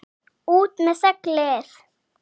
ÚT MEÐ SEGLIÐ!